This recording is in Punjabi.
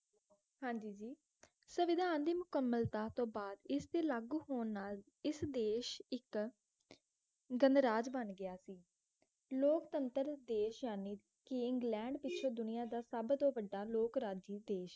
ਹਾਂ ਜੀ ਜੀ ਸੰਵਿਧਾਨ ਦੀ ਮੁੱਕਮਲਤਾ ਤੋਂ ਬਾਅਦ ਇਸਦੇ ਲਾਗੂ ਹੋਣ ਨਾਲ ਇਸ ਦੇਸ਼ ਇੱਕ ਗਣਰਾਜ ਬਣ ਗਿਆ ਸੀ ਲੋਕਤੰਤਰ ਦੇਸ਼ ਯਾਨੀ ਕਿ ਇੰਗਲੈਂਡ ਪਿੱਛੋਂ ਦੁਨੀਆ ਦਾ ਸਭ ਤੋਂ ਵੱਢਾ ਲੋਕ ਰਾਜੀ ਦੇਸ਼